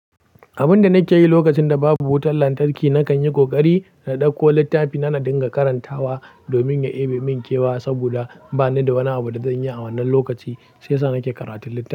Abun da nake yi lokacin da babu wutar lantarki, nakan yi ƙoƙari na ɗauko littafi na dinga karantawa domin ya yi min kyau saboda bani da wani abu da zan yi a wannan lokaci, sai sa nake karatun littafi.